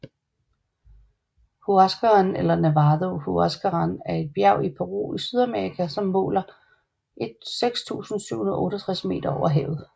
Huascarán eller Nevado Huascarán er et bjerg i Peru i Sydamerika som måler 6768 meter over havet